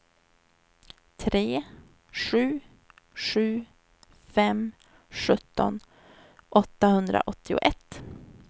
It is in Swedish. tre sju sju fem sjutton åttahundraåttioett